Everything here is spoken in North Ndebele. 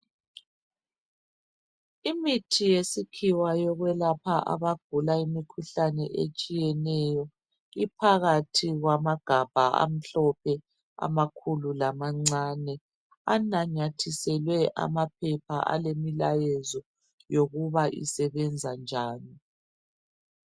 Imithi yesikhiwa yokwelapha abantu abagulayo imikhuhlane etshiyeneyo iphakathi kwamagamba amhlophe amakhulu lamancane anamathiselwe amaphepha alemilayezo yokuba isebenza njani.